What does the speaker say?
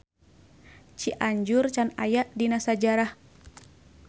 Cianjur can aya dina sajarah.